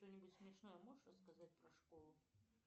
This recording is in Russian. что нибудь смешное можешь рассказать про школу